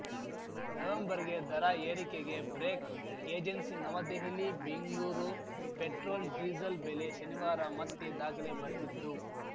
ನವೆಂಬರ್‌ಗೆ ದರ ಏರಿಕೆಗೆ break agency ನವದೆಹಲಿಬೆಂಗ್ಲೂರ್ petrol diesel ಬೆಲೆ ಶನಿವಾರ ಮತ್ತೆ ದಾಖಲೆ ಬರೆದಿದ್ದು